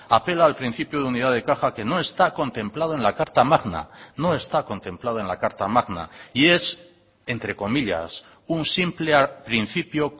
apela al principio de unidad de caja que no está contemplado en la carta magna no está contemplado en la carta magna y es entre comillas un simple principio